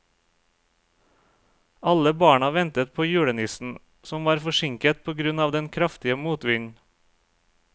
Alle barna ventet på julenissen, som var forsinket på grunn av den kraftige motvinden.